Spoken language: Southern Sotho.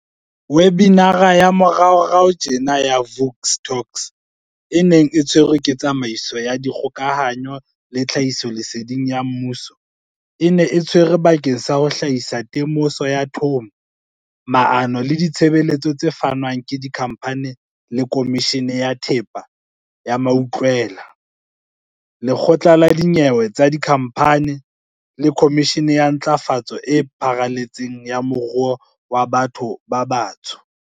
Webinara ya moraorao tjena ya Vuk Talks, e neng e tshwerwe ke Tsamaiso ya Dikgokahanyo le Tlhahisoleseding ya Mmuso, e ne e tshwerwe bakeng sa ho hlahisa temoso ya thomo, maano le ditshebeletso tse fanwang ke Dikhamphani le Khomishene ya Thepa ya Mautlwela, CIPC, Lekgotla la Dinyewe tsa Dikhamphani, CT, le Khomishene ya Ntlafatso e Pharaletseng ya Moruo wa Batho ba Batsho, B-BBEE.